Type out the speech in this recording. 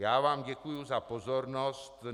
Já vám děkuji za pozornost.